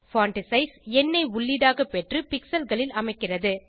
font size எண்ணை உள்ளீடாக பெற்று pixelகளில் அமைக்கிறது